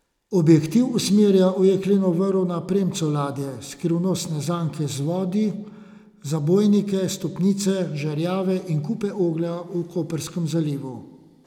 Objektiv usmerja v jekleno vrv na premcu ladje, skrivnostne zanke v vodi, zabojnike, stopnice, žerjave in kupe oglja v koprskem zalivu.